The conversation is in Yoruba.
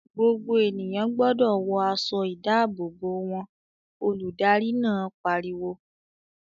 "Gbogbo ènìyàn gbọdọ̀ wọ aṣọ-ìdáàbòbò wọn!" Olùdarí náà pariwo.